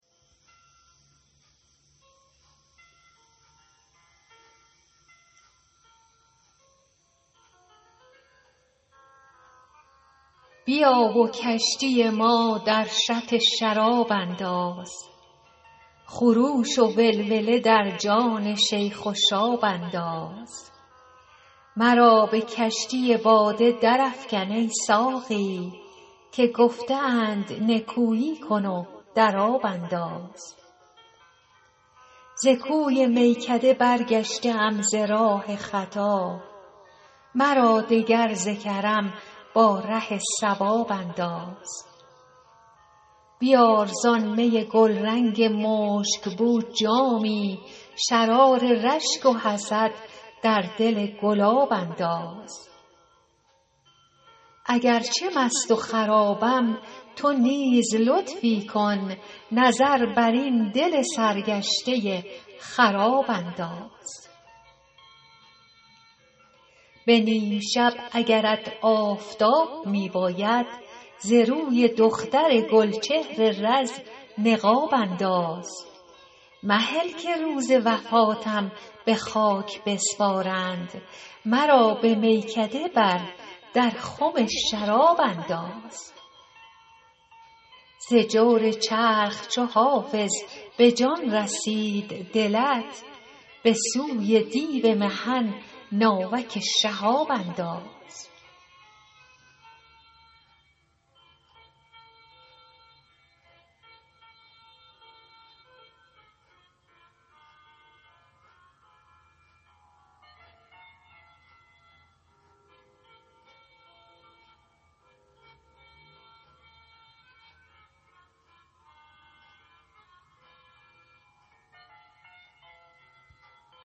بیا و کشتی ما در شط شراب انداز خروش و ولوله در جان شیخ و شاب انداز مرا به کشتی باده درافکن ای ساقی که گفته اند نکویی کن و در آب انداز ز کوی میکده برگشته ام ز راه خطا مرا دگر ز کرم با ره صواب انداز بیار زآن می گلرنگ مشک بو جامی شرار رشک و حسد در دل گلاب انداز اگر چه مست و خرابم تو نیز لطفی کن نظر بر این دل سرگشته خراب انداز به نیم شب اگرت آفتاب می باید ز روی دختر گل چهر رز نقاب انداز مهل که روز وفاتم به خاک بسپارند مرا به میکده بر در خم شراب انداز ز جور چرخ چو حافظ به جان رسید دلت به سوی دیو محن ناوک شهاب انداز